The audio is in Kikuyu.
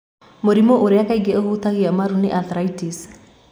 Mũrimũ ũrĩa kaingĩ ũhutagia marũ nĩ Osteoarthritis.